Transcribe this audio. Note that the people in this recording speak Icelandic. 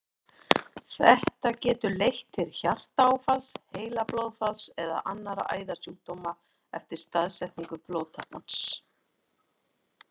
Þetta getur leitt til hjartaáfalls, heilablóðfalls eða annarra æðasjúkdóma eftir staðsetningu blóðtappans.